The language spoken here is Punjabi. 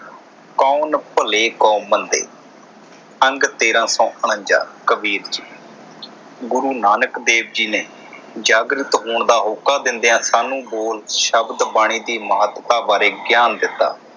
ਕੌਣ ਭਲੇ ਕੌਣ ਮੰਦੇ ਅੰਤ ਤੇਰਾ ਕੌਣ ਨਾ ਜਾਣੇ ਕਬੀਰ ਜੀ। ਗੁਰੂ ਨਾਨਕ ਦੇਵ ਜੀ ਨੇ ਜਾਗ੍ਰਿਤ ਹੋਣ ਦਾ ਹੋਕਾ ਦੇਂਦਿਆਂ ਸਾਨੂੰ ਬੋਲ ਸ਼ਬਦ ਬਾਣੀ ਦੀ ਮਹੱਤਤਾ ਬਾਰੇ ਗਿਆਨ ਦਿੱਤਾ।